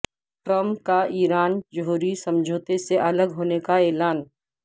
Trump کا Iran جوہری سمجھوتے سے الگ ہونے کا اعلان